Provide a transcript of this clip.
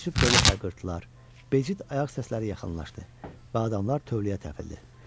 Təəccüb dolu hayqırtılar, bəcit ayaq səsləri yaxınlaşdı və adamlar tövləyə təpildi.